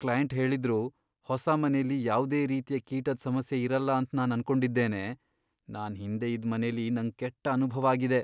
Client ಹೇಳಿದ್ರು, ಹೊಸ ಮನೆಲಿ ಯಾವ್ದೇ ರೀತಿಯ ಕೀಟದ್ ಸಮಸ್ಯೆ ಇರಲ್ಲ ಅಂತ್ ನಾನ್ ಅನ್ಕೊಂಡಿದ್ದೇನೆ, ನಾನ್ ಹಿಂದೆ ಇದ್ ಮನೇಲಿ ನಂಗ್ ಕೆಟ್ಟ ಅನುಭವ ಆಗಿದೆ.